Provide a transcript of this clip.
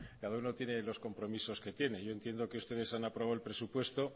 cada uno tiene los compromisos que tiene yo entiendo que ustedes han aprobado el presupuesto